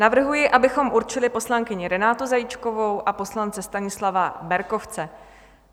Navrhuji, abychom určili poslankyni Renátu Zajíčkovou a poslance Stanislava Berkovce.